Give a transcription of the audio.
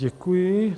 Děkuji.